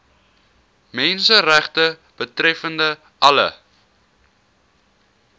menseregte betreffende alle